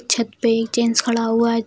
छत पे एक जेंट्स खड़ा हुआ है ।